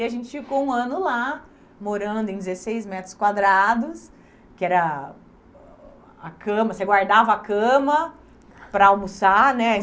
E a gente ficou um ano lá, morando em dezesseis metros quadrados, que era a cama, você guardava a cama para almoçar, né?